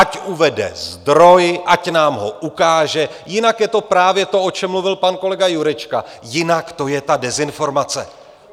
Ať uvede zdroj, ať nám ho ukáže, jinak je to právě to, o čem mluvil pan kolega Jurečka, jinak to je ta dezinformace.